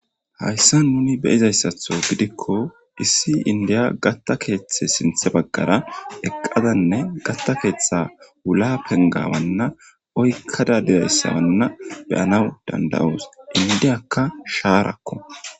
hayssa nuni beyizayssatho gidikko issi indiya gatta keeththe sinthe baggara eqqadanne gatta keeththa wula pengawanna oykkada dizayssawanna beyanaw danda7oos indiyakka shaarakko